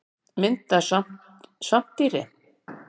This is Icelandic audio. Mynd af svampdýri.